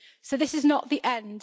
This is not the end.